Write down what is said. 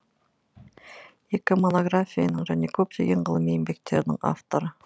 екі монографияның және көптеген ғылыми еңбектердің авторы